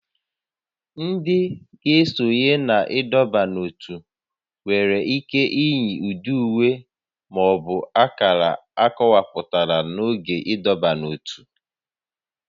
Ndị ga esonye na ịdọba n'ótú nwere ike iyi ụdị uwe ma ọ bụ akara akọwapụtara n'oge ịdọba n'ótú